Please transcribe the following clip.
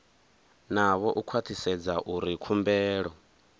navho u khwathisedza uri khumbelo